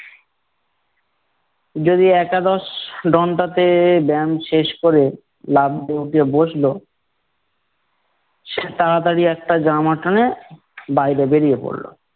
যদি একাদশ ডনটাতে ব্যাম শেষ করে বাবু~ উঠে বসলো। সে তারাতারি একটা জামা টেনে, বাইরে বেরিয়ে পড়ল।